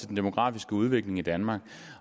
den demografiske udvikling i danmark